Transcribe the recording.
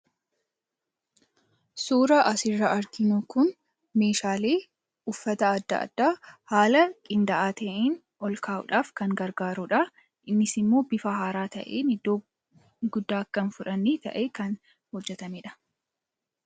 Suuraan asirraa arginu kun meeshaalee uffata adda addaa haala qindaa'aa ta'een ol kaa'uudhaaf kan gargaarudha. Innis immoo bifa haaraa ta'een iddoo guddaa akka hin fudhanne ta'ee kan hojjetamedha.